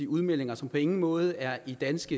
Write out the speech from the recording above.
udmeldinger som på ingen måde er i dansk